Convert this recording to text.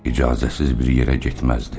İcazəsiz bir yerə getməzdi.